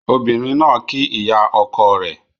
Ọbìnrin ná kí ìyà oko rẹ